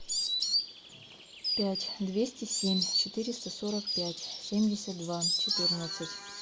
пять двести семь четыреста сорок пять семьдесят два четырнадцать